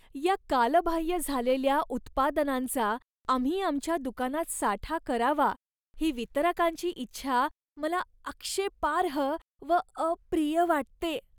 या कालबाह्य झालेल्या उत्पादनांचा आम्ही आमच्या दुकानात साठा करावा ही वितरकांची इच्छा मला आक्षेपार्ह व अप्रिय वाटते.